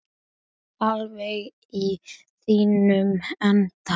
Alveg í þínum anda.